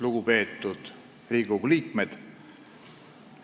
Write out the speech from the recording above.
Lugupeetud Riigikogu liikmed!